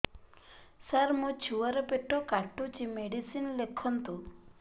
ସାର ମୋର ଛୁଆ ର ପେଟ କାଟୁଚି ମେଡିସିନ ଲେଖନ୍ତୁ